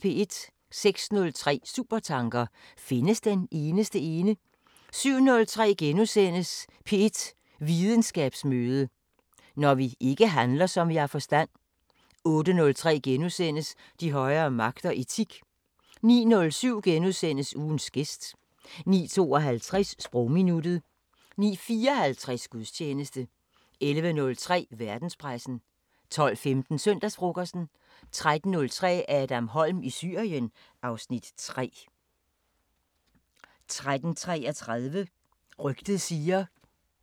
06:03: Supertanker: Findes den eneste ene? 07:03: P1 Videnskabsmøde: Når vi ikke handler, som vi har forstand * 08:03: De højere magter: Etik * 09:07: Ugens gæst * 09:52: Sprogminuttet 09:54: Gudstjeneste 11:03: Verdenspressen 12:15: Søndagsfrokosten 13:03: Adam Holm i Syrien (Afs. 3) 13:33: Rygtet siger